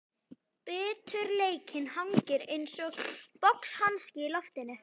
Biturleikinn hangir einsog boxhanski í loftinu.